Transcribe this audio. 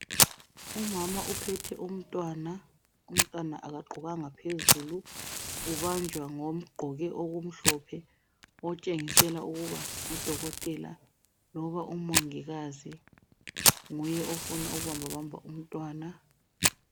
Umama uphethe umntwana. Umntwana akagqokanga phezulu. Ubanjwa ngogqoke okumhlophe phezulu. Otshengisela ukuba ngumongikazi loba udokotela. Nguye ofuna ukubambabamba umntwana.